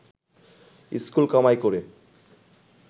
school কামাই করে